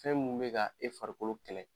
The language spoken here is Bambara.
Fɛn mun be ka e farikolo kɛlɛ